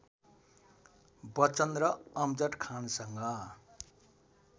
बच्चन र अमजद खानसँग